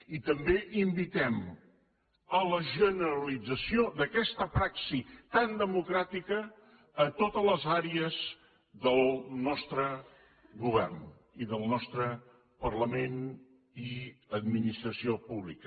i també invitem a la generalització d’aquesta praxi tan democràtica a totes les àrees del nostre govern i del nostre parlament i administració pública